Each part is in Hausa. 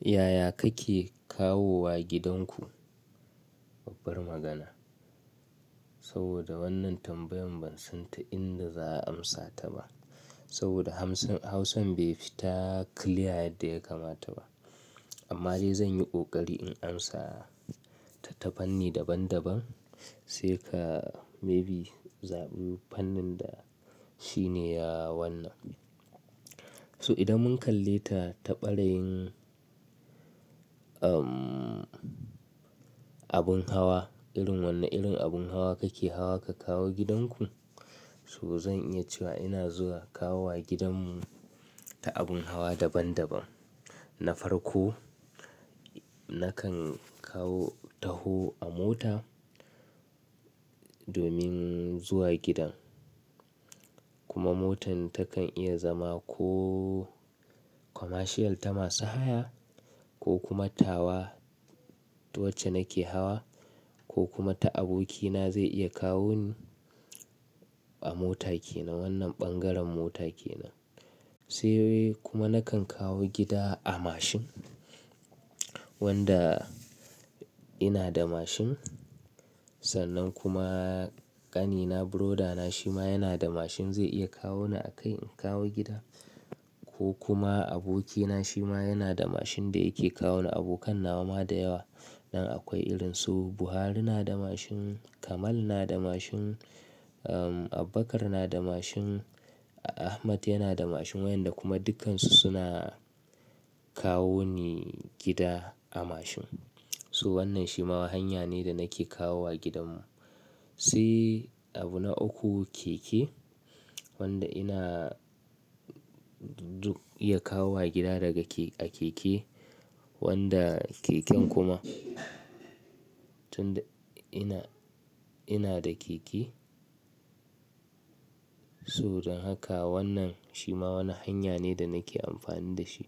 Ya ya kake kawowa gidanku? Babbar magana. Saboda wannan tambayan ban san ta inda za a amsa ta ba. Saboda amsa- hausan bai fita clear yadda ya kamata ba. Amma dai zan yi ƙoƙari in amsata ta fanni daban-daban. Sai ka maybe zaɓi fannin da shi ne ya wannan. To idan mun kalleta ta ɓarayin abun hawa, irin wanne irin abun hawa kake hawa ka kawo gidanku. To zan iya cewa zuwa kawowa gidanmu ta abun hawa daban-daban. Na farko nakan kawo, taho a mota domin zuwa gidan, kuma motan tana iya zama ko commercial ta masu haya. Ko kuma tawa wacce nake hawa, ko kuma ta abokina zai iya kawoni, a mota kenan. Wannan ɓangaren mota kenan. Sai kuma nakan kawo gida a mashin wanda ina da mashin, sannan kuma ƙanina brother na shima yana da mashin zai iya kawoni a kai in kawo gida. Ko kuma abokina shima yana da mashin da yake kawo ni, abikan nawa ma da yawa. Sa akwai irin su Buhari na da mashin, Kamal na da mashin, Abubakar na da mashin, Ahmada yana da mashin. Wa'inda kuma dukkansu suna kawoni gida a mashin. So wannan shima hanya ne da nake kawowa gudanmu. Sai abu na uku keke, wanda ina iya kawowa gida daga a keke. Wanda keken kuma, tunda ina da keke. To don haka wannan shima wani hanya ne da nake amfani dashi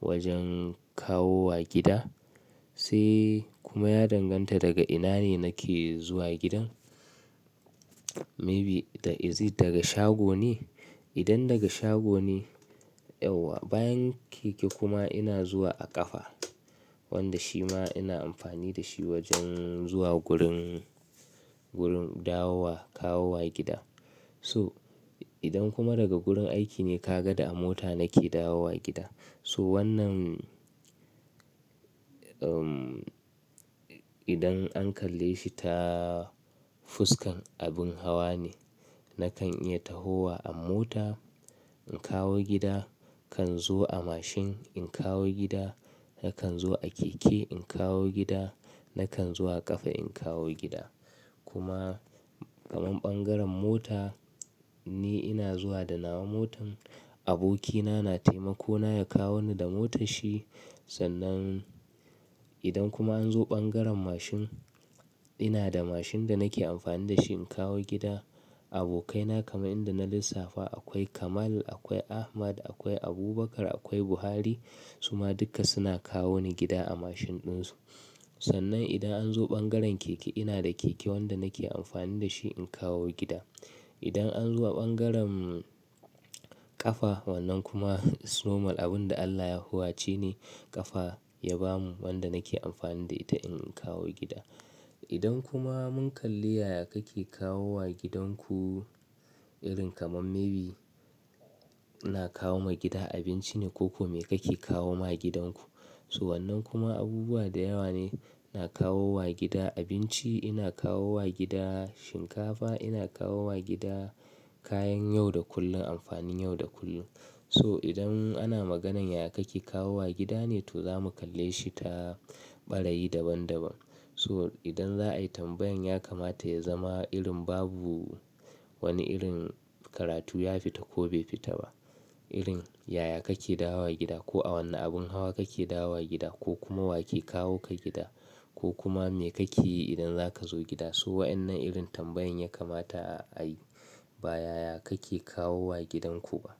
wajen kawowa gida. Sai kuma ya danganta daga ina ne nake zuwa gidan. Maybe is it daga shago ne. Idan daga shago ne yauwa, bayan keke kuma ina zuwa a ƙafa. Wanda shima ina amfani dashi wajen zuwa gurin dawowa kawowa gida. To idan kuma daga wurin aiki ne kaga da mota nake dawowa gida. So wannan, um, idan an kalle shi ta fuskan abin hawa ne. Nakan iya tahowa a mota in kawo gida. Kan zo a mashin in kawo gida. Nakan zo a keke in kawo gida. Nakan zuwa ƙafa in kawo gida. Kuma kamar ɓangaren mota Ni ina zuwa da nawa motar, abokina na taimakona ya kawo ni da motarshi. Sannan idan kuma an zo bangaren mashin, ina da mashin da nake amfani da shi in kawo gida. Abokaina kamar yadda na lissafa akwai Kamal, akwai Ahmad, akwai Abubakar, akwai Buhari. Su ma dukka suna kawo ni gida a mashin ɗinsu. Sannan idan an zo ɓangaren keke ina da keke wanda nake amfani da shi in kawo gida. Idan an zo a bangaren ƙafa wannan kuma it's normal abin da Allah ya huwace ne ƙafa ya ba mu wanda nake amfani da ita in kawo gida. Idan kuma mun kalli ya ya kake kawowa gidanku irin kamar maybe ina kawoma gida abinci ne ko ko me kake kawo ma gidanku to wannan kuma abubuwa da yawa ne. Ina kawowa gida abinci, ina kawowa gida shinkafa, ina kawowa gida kayan yau da kullum, amfanin yau da kullum So idan ana maganar ya ya kake kawowa gida ne to zamu kalleshi ta ɓarayi daban-daban So idan za a yi tambayar ya kamata ya zama irin babu wani irin karatu ya fita ko bai fita ba. Irin ya ya kake dawowa gida ko a wanne abun hawa kake dawowa gida ko kuma wa ke kawoka gida? Ko kuma me kake yi idan zaka zo gida? Su wa'in nan irin tambayar ya kamata a yi ba ya ya kake kawowa gidanku ba.